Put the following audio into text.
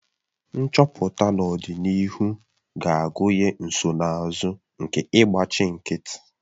Nchọpụta n'ọdịnihu ga-agụnye nsonaazụ nke ịgbachi nkịtị